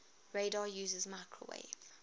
radar uses microwave